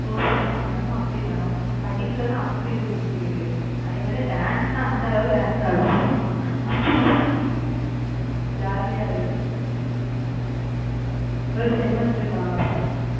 performance பண்ணனுமோ அப்படி பண்ணும். படிப்புலன்னா அப்படி இருக்கும் பிள்ளைகளே அதே மாதிரி dance ன்னா அந்த அளவுக்கு dance ஆடும் அப்படி jolly ஆ ஒரு semester க்கா